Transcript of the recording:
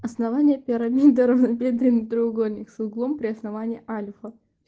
основание пирамиды равнобедренный треугольник с углом при основании альфа